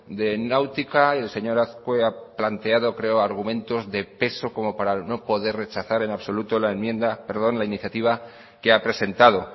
de náutica diseñadas pueda haber planteado creo argumentos de peso como para no poder rechazar en absoluto la iniciativa que ha presentado